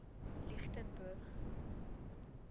lichtenburg